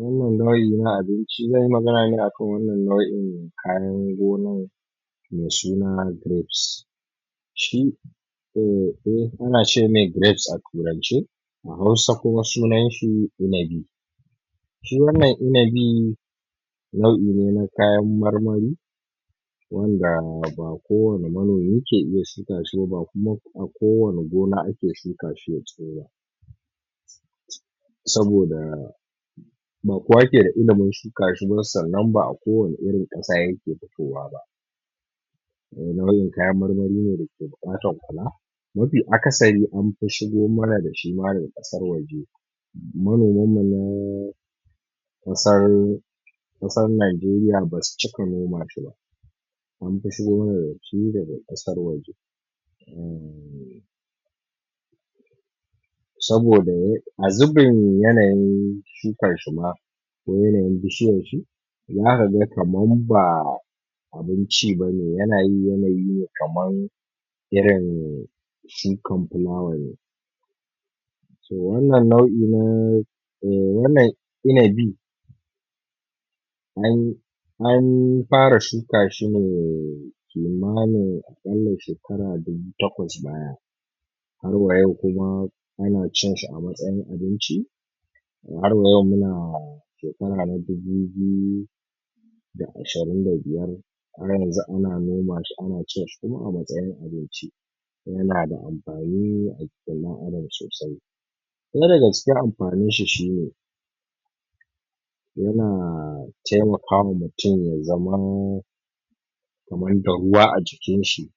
wannan nau'i na abinci, zan yi magana ne akan wannan nau'in kayan gonan mai suna grapes, shi ana ce mai grapes a turance a Hausa kuma sunan shi inabi shi wannan inabi nau'i ne na kayan marmari wanda ba kowane manomi ke iya shuka shi ba, ba kuma kowane gona ake shuka shi ya tsiro ba saboda ba kowa ke da ilimin shuka shi ba, sannan ba a kowane irin ƙasa yake fitowa ba, domin wannan kayan marmari ne da ke buƙatar kula mafi akasari an fi shigo mana da shi ma daga ƙasar waje manomanmu naaa kusan ƙasar Nigeria basu cika noma shi ba an fi shigo mana da shi daga ƙasar waje uhm saboda a a zubin yanayin shukar shi ma akwai yanayin bishiyarshi zaka ga kamar ba abinci ba ne, yana yin yanayi ne kamar irin shukar flower ne, so wannan nau'i na uhm inabi an an fara shuka shi ne kimanin a ƙalla shekara dubu takwas baya har wayau kuma ana cin shi a matsayin abinci har ya wayau muna shekara na dubu biyu da ashirin da biyar har yanxu ana nomashi ana cin shi kuma a matsayin abinci kuma yana da amfani a jikin ɗan adam sosai ɗaya daga amfaninshi shi ne yana taimakawa mutum ya zama kamar da ruwa a jikinshi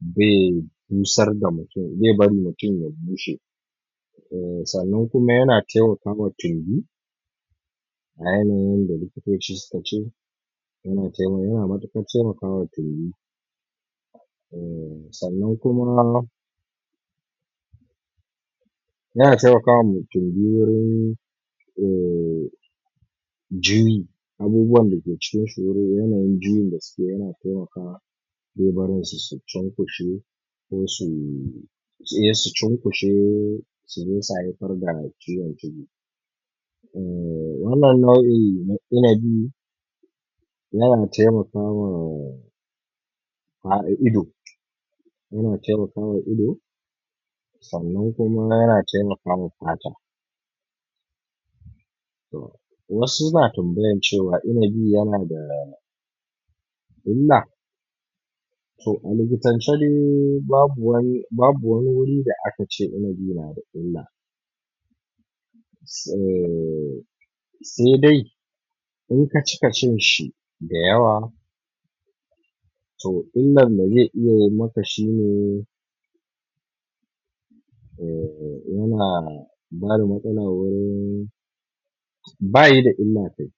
bai bai busar da mutum bai bari mutum ya bushe uhm sannan kuma ya taimakawa tumb a yanayin da likito suka ce yana matuƙar taimawa tumbi uhm sannan kuma kuma yana taimakawa mai tumbi wurin eh juyi abubuwan da ke cikin su wurin yanayin juyin da suke yana taimakawa bai barin su su cunkushe ko su eh su cunkushe su je su haifar da ciwon tumbi, uhm wannan nau'i na inabi yana taimakawa ido yana taimakawa ido sannan kuma yana taimaka fata, wasu na tambayar cewa inabi yana da illa? to a likitance dai babu wani wuri da aka ce inabi nada illa, uhm sai dai inka cika cin shi da yawa to illan da zai iya yi maka shi ne, uhm yana yana bada matsala wajen, baya da illa kai